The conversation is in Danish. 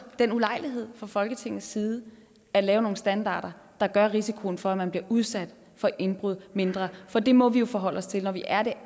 den ulejlighed fra folketingets side at lave nogle standarder der gør risikoen for at man bliver udsat for indbrud mindre for det må vi jo forholde os til når vi er det